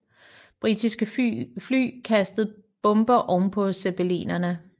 Britiske fly kastede bomber ovenpå zeppelinerne